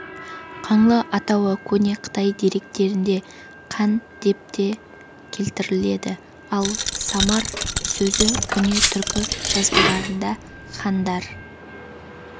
қаңлы атауы көне қытай деректерінде қан деп те келтіріледі ал самар сөзі көне түркі жазбаларында хандар